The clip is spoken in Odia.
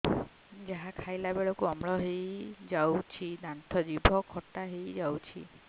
ଯାହା ଖାଇଲା ବେଳକୁ ଅମ୍ଳ ହେଇଯାଉଛି ଦାନ୍ତ ଜିଭ ଖଟା ହେଇଯାଉଛି